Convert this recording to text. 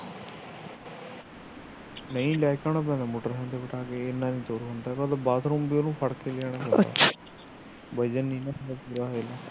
ਨਹੀ ਲੈ ਕੇ ਆਉਣਾ ਫਿਰਦਾ ਮੋਟਰਸਾਇਕਲ ਤੇ ਬਿਠਾ ਕੇ ਇੰਨਾ ਨਹੀ ਤੁਰ ਹੁੰਦਾ ਬਾਥਰੂਮ ਵੀ ਉਹਨੂੰ ਫੜ ਕੇ ਲਿਜਾਉਣਾ ਪੈਂਦਾ